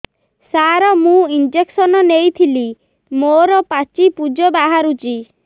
ସାର ମୁଁ ଇଂଜେକସନ ନେଇଥିଲି ମୋରୋ ପାଚି ପୂଜ ବାହାରୁଚି